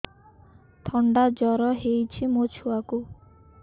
ଥଣ୍ଡା ଜର ହେଇଚି ମୋ ଛୁଆକୁ